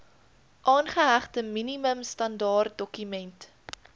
aangehegte minimum standaardedokument